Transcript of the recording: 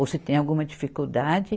Ou se tem alguma dificuldade.